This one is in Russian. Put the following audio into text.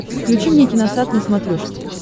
включи мне киносат на смотрешке